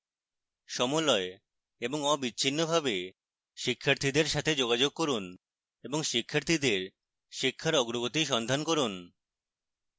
সমলয় এবং অবিচ্ছিন্নভাবে শিক্ষার্থীদের সাথে যোগাযোগ করুন এবং শিক্ষার্থীদের শিক্ষার অগ্রগতি সন্ধান করুন